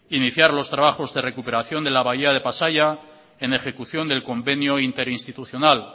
iniciar los trabajos de recuperación de la bahía de pasaia en ejecución del convenio interinstitucional